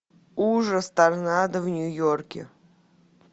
ужас торнадо в нью йорке